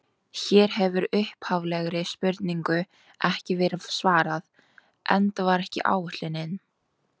Hér hefur upphaflegri spurningu ekki verið svarað, enda var það ekki ætlunin.